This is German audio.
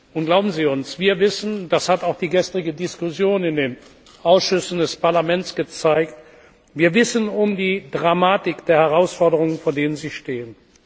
Und glauben Sie uns, wir wissen das hat auch die gestrige Diskussion in den Ausschüssen des Parlaments gezeigt um die Dramatik der Herausforderungen, vor denen Sie stehen.